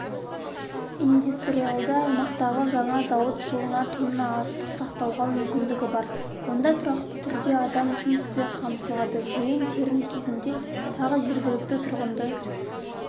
индустриалды аймақтағы жаңа зауыт жылына тонна астық сақтауға мүмкіндігі бар онда тұрақты түрде адам жұмыспен қамтылады жиын-терін кезінде тағы жергілікті тұрғынды